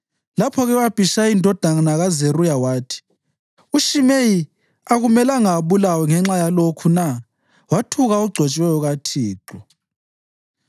Lapho-ke u-Abhishayi indodana kaZeruya wathi, “UShimeyi akumelanga abulawe ngenxa yalokhu na? Wathuka ogcotshiweyo kaThixo.”